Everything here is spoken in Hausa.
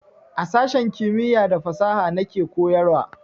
A sashen kimiya da fasaha na ke koyarwa